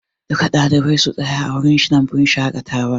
Duka ɗalibai su tsaya a wurin lambun shaƙatawar!